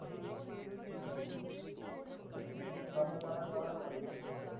त्याला त्याला कळायला पाहीजे न आता